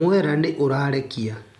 Mwera nĩ ũrarekia.